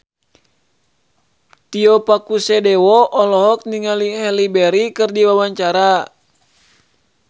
Tio Pakusadewo olohok ningali Halle Berry keur diwawancara